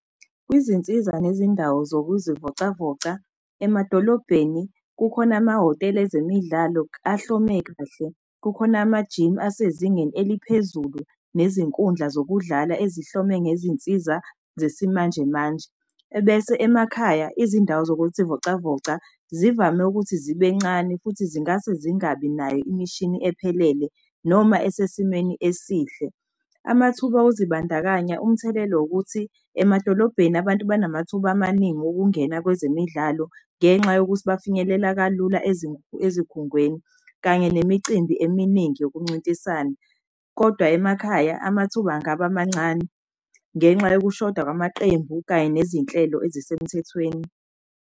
Kwizinsiza nezindawo zokuzivocavoca emadolobheni kukhona amahhotela ezemidlalo ahlomule kahle. Kukhona amajimu asezingeni eliphezulu, nezinkundla zokudlala ezihlome ngezinsiza zesimanjemanje. Ebese emakhaya izindawo zokuzivocavoca zivame ukuthi zibe encane futhi zingase zingabi nayo imishini ephelele noma esesimeni esihle. Amathuba okuzibandakanya umthelelo wokuthi emadolobheni abantu banamathuba amaningi okungena kwezemidlalo. Ngenxa yokuthi bafinyelela kalula ezikhungweni kanye nemicimbi eminingi yokuncintisana. Kodwa emakhaya amathuba angaba mancane ngenxa yokushoda kwamaqembu kanye nezinhlelo ezisemthethweni.